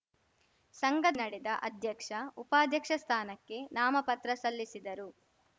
ಸಂಘ ನಡೆದ ಅಧ್ಯಕ್ಷಉಪಾಧ್ಯಕ್ಷಸ್ಥಾನಕ್ಕೆ ನಾಮಪತ್ರ ಸಲ್ಲಿಸಿದರು